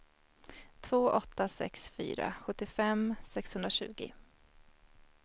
två åtta sex fyra sjuttiofem sexhundratjugo